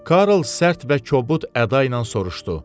Karl sərt və kobud əda ilə soruşdu.